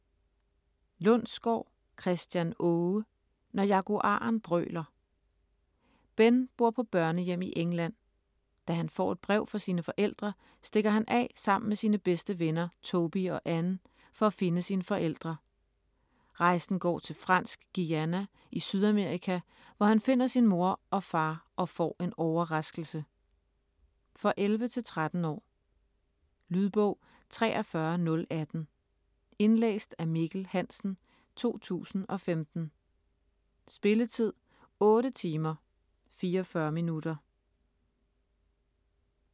Lundsgaard, Christian Aage: Når jaguaren brøler Ben bor på børnehjem i England. Da han får et brev fra sine forældre, stikker han af sammen med sine bedste venner Toby og Anne, for at finde sine forældre. Rejsen går til Fransk Guyana i Sydamerika, hvor han finder sin mor og far og får en overraskelse. For 11-13 år. Lydbog 43018 Indlæst af Mikkel Hansen, 2015. Spilletid: 8 timer, 44 minutter.